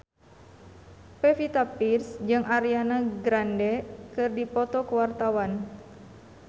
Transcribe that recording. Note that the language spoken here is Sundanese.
Pevita Pearce jeung Ariana Grande keur dipoto ku wartawan